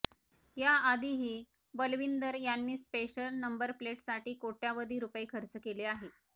याआधीही बलविंदर यांनी स्पेशल नंबरप्लेटसाठी कोट्यवधी रूपये खर्च केले आहे